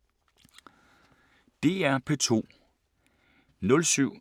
DR P2